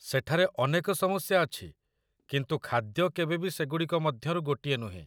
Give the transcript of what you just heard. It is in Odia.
ସେଠାରେ ଅନେକ ସମସ୍ୟା ଅଛି କିନ୍ତୁ ଖାଦ୍ୟ କେବେବି ସେଗୁଡ଼ିକ ମଧ୍ୟରୁ ଗୋଟିଏ ନୁହେଁ!